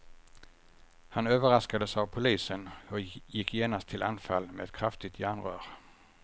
Han överraskades av polisen och gick genast till anfall med ett kraftigt järnrör.